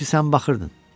Çünki sən baxırdın.